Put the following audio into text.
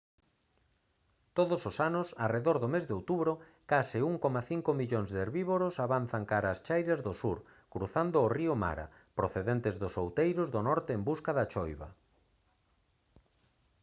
todos os anos arredor do mes de outubro case 1,5 millóns de herbívoros avanzan cara ás chairas do sur cruzando o río mara procedentes dos outeiros do norte en busca da choiva